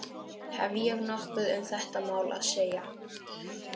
Hef ég nokkuð um þetta mál að segja?